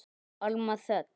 Alma Þöll.